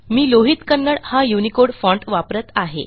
मी लोहित कन्नडा हा Unicode font वापरत आहे